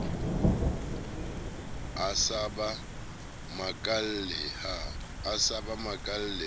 a sa ba makalle ha